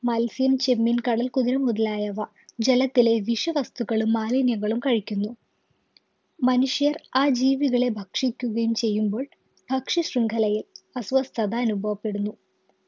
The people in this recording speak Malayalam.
മത്സ്യം ചെമ്മീൻ കടൽ കുഞ്ഞ് മുതലായവ ജലത്തിലെ വിഷവസ്തുക്കളും മാലിന്യങ്ങളും കഴിക്കുന്നു മനുഷ്യർ ആ ജീവികളെ ഭക്ഷിക്കുകയും ചെയ്യുമ്പോൾ ഭക്ഷ്യ ശൃംഖലയിൽ അസ്വസ്ഥത അനുഭവപ്പെടുന്നു